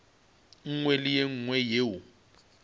nngwe le ye nngwe yeo